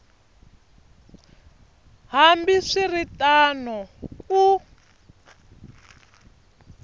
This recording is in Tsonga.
hambi swi ri tano ku